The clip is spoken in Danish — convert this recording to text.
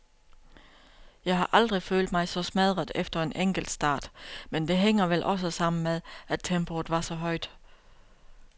Jeg har aldrig følt mig så smadret efter en enkeltstart, men det hænger vel også sammen med, at tempoet var så højt.